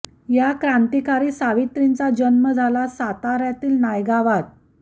या क्रांतीकारी सावित्रींचा जन्म झाला साताऱ्यातील नायगावात झाला